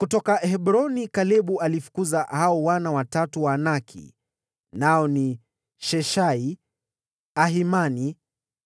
Kutoka Hebroni Kalebu alifukuza hao wana watatu wa Anaki, nao ni Sheshai, Ahimani